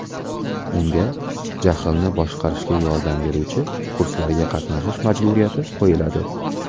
Unga jahlni boshqarishga yordam beruvchi kurslarga qatnashish majburiyati qo‘yiladi.